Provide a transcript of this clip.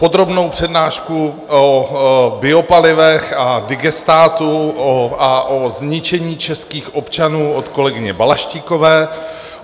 Podrobnou přednášku o biopalivech a digestátu a o zničení českých občanů od kolegyně Balaštíkové.